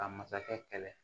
Ka masakɛ kɛlɛ